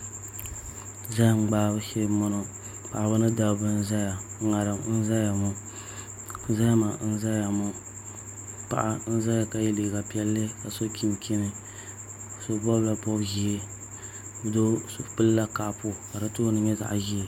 Zaham gbahabu shee n bɔŋɔ paɣaba ni dabba n ʒɛya ŋarim n ʒɛya ŋɔ zahama n ʒɛya ŋɔ paɣa n ʒɛya ka yɛ liiga piɛlli ka so chinchini so bobla bob ʒiɛ doo pilila kaapu ka di tooni nyɛ zaɣ ʒiɛ